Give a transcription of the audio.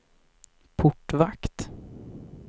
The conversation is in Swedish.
portvakt